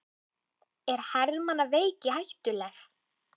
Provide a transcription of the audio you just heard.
Er hermannaveiki hættuleg?